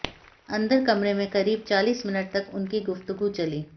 अंदर कमरे में करीब चालीस मिनट तक उनकी गुफ्तगू चली